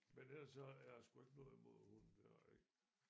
Men ellers så har jeg sgu ikke noget imod hunde det har jeg ikke